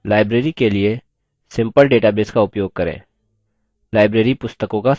library के लिए simple database का उपयोग करें